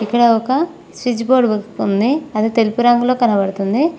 ఇక్కడ ఒక switch board ఉంది అది తెలుపు రంగులో కనిపిస్తుంది.